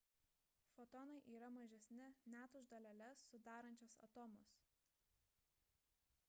fotonai yra mažesni net už daleles sudarančias atomus